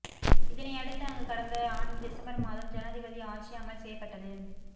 இதனையடுத்து அங்கு கடந்த ஆண்டு டிசம்பர் மாதம் ஜனாதிபதி ஆட்சி அமல் செய்யப்பட்டது